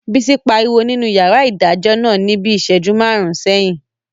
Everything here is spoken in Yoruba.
Bísí pariwo nínú yàrá ìdájọ́ náà ní bíi ìsẹ́jú máàrún sẹ́yìn